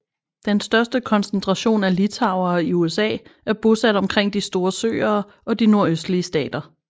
Den største koncentration af litauere i USA er bosat omkring de store søere og de nordøstlige stater